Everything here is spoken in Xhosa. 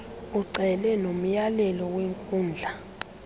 ucele nomyalelo wenkundla